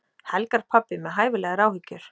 Helgarpabbi með hæfilegar áhyggjur.